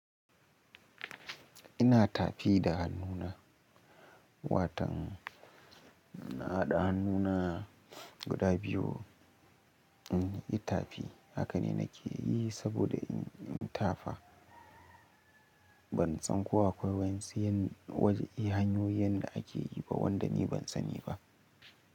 Ina tafi da hannuna, watan na haɗa hannu na guda biyu in yi tafi. Haka ne nake yi saboda in tafa. Ban san ko akwai wani sirrin, wajen hanyoyin da ake yi ba wanda ni ban sani ba.